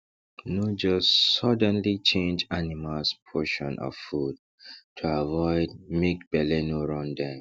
no just suddenly change animals potion of food to avoid make belle no run dem